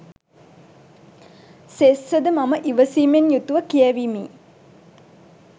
සෙස්ස ද මම ඉවසීමෙන් යුතු ව කියැවීමි.